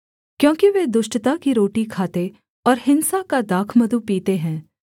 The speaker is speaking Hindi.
क्योंकि वे दुष्टता की रोटी खाते और हिंसा का दाखमधु पीते हैं